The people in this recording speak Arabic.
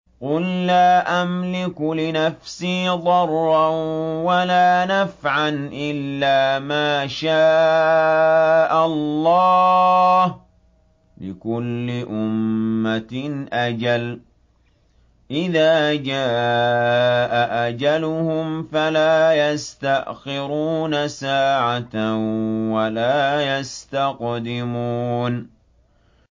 قُل لَّا أَمْلِكُ لِنَفْسِي ضَرًّا وَلَا نَفْعًا إِلَّا مَا شَاءَ اللَّهُ ۗ لِكُلِّ أُمَّةٍ أَجَلٌ ۚ إِذَا جَاءَ أَجَلُهُمْ فَلَا يَسْتَأْخِرُونَ سَاعَةً ۖ وَلَا يَسْتَقْدِمُونَ